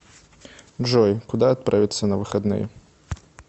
джой куда отправится на выходные